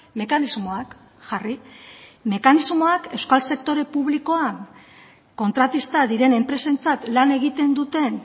mekanismoak jarri mekanismoak euskal sektore publikoan kontratista diren enpresentzat lan egiten duten